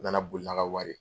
U na na boli n'a ka wari ye.